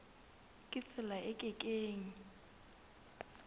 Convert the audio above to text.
ka tsela e ke keng